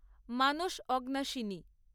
Manas Aghanashini